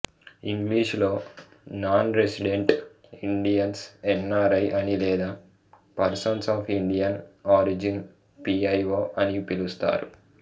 ఇంగ్లీషులో non resident Indians NRI అనీ లేదా persons of Indian origin PIO అనీ పిలుస్తారు